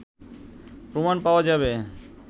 প্রমাণ পাওয়া যাবে